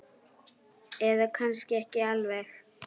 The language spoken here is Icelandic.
Eða kannski ekki alveg.